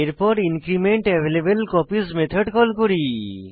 এরপর increment available copies method call করি